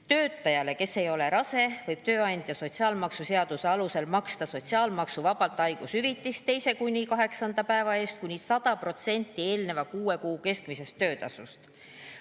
Töötajale, kes ei ole rase, võib tööandja sotsiaalmaksuseaduse alusel maksta sotsiaalmaksuvabalt haigushüvitist teise kuni kaheksanda päeva eest kuni 100% eelneva kuue kuu keskmisest töötasust.